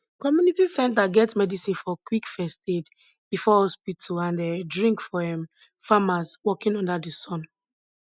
community center get medicine for quick first aid before hospital and um drink for um farmers working under the sun